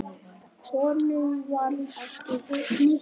Honum varð ekki hnikað.